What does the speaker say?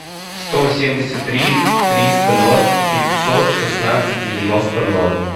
сто семьдесят три триста ноль пятьсот шестнадцать девяносто ноль